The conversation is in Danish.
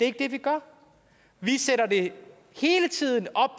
ikke det vi gør vi sætter det hele tiden op